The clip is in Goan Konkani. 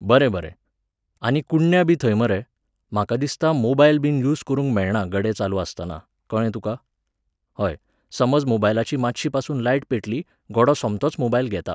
बरें, बरें. आनी कुडण्या बी थंय मरे, म्हाका दिसता मोबायलबीन यूज करूंक मेळना गडे चालू आसतना, कळ्ळें तुका? हय, समज मोबायलाची मातशीपासून लायट पेटली, गडो सोमतोच मोबायल घेता.